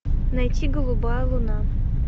найти голубая луна